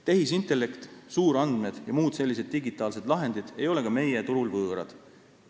Tehisintellekt, suurandmed jms digitaalsed lahendid ei ole ka meie turul võõrad.